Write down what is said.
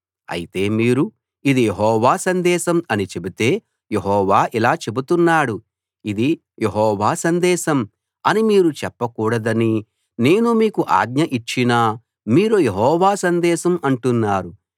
అయితే మీరు ఇది యెహోవా సందేశం అని చెబితే యెహోవా ఇలా చెబుతున్నాడు ఇది యెహోవా సందేశం అని మీరు చెప్పకూడదని నేను మీకు ఆజ్ఞ ఇచ్చినా మీరు యెహోవా సందేశం అంటున్నారు